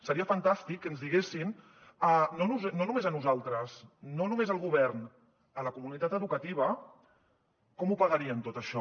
seria fantàstic que ens diguessin no només a nosaltres no només al govern a la comunitat educativa com ho pagarien tot això